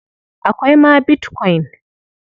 Akwai ma bitkwain.